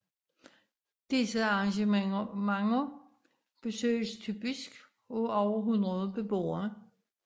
Disse arrangementer besøges typisk af over 100 beboere